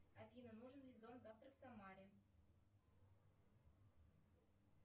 афина нужен ли зонт завтра в самаре